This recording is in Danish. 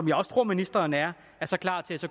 jeg også tror ministeren er er klar til